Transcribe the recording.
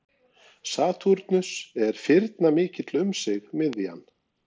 Satúrnus er firnamikill um sig miðjan.